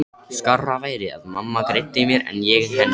Skárra væri að mamma greiddi mér en ég henni.